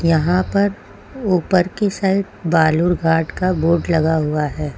यहां पर ऊपर की साइड बालूरघाट का बोर्ड लगा हुआ है।